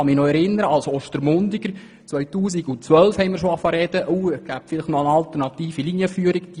Ich erinnere mich als Ostermundiger, dass wir bereits im Jahr 2012 über mögliche alternative Linienführungen sprachen.